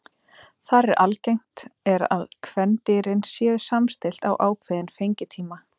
Þar er algengt er að kvendýrin séu samstillt á ákveðinn fengitíma.